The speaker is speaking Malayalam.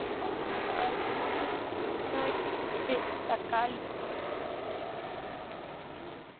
സ്വന്തമായിട്ട് തക്കാളി